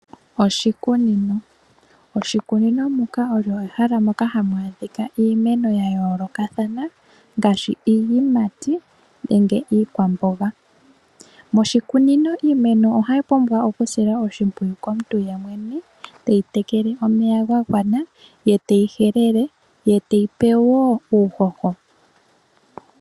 Oshikunino. Oshikunino olyo ehala moka hamu adhika iimeno ya yoolokathana ngaashi iiyimati nenge iikwamboga. Moshikunino iimeno ohayi pumbwa okusilwa oshimpwiyu komuntu yemwene teyi tekele omeya ga gwana, ye teyi helele, ye teyipo wo uuhoho.